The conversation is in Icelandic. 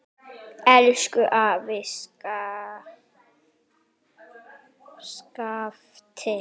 Elsku afi Skafti.